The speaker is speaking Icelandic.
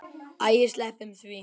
Æ, sleppum því.